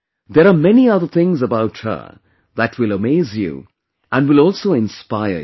There are many other things about her that will amaze you and will also inspire you